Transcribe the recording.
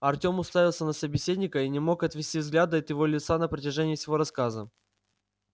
артём уставился на собеседника и не мог отвести взгляда от его лица на протяжении всего рассказа